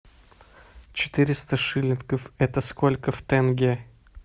четыреста шиллингов это сколько в тенге